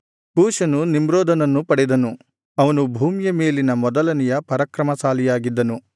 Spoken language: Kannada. ಕೂಷನು ನಿಮ್ರೋದನನ್ನು ಪಡೆದನು ಅವನು ಭೂಮಿಯ ಮೇಲಿನ ಮೊದಲನೆಯ ಪರಾಕ್ರಮಶಾಲಿಯಾಗಿದ್ದನು